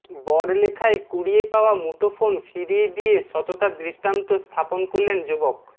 বড়লেখায় কুড়িয়ে পাওয়া মুঠোফোন ফিরিয়ে দিয়ে সততার দৃষ্টান্ত স্থাপন করলেন যুবক